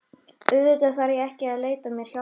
Auðvitað þarf ég ekki að leita mér hjálpar.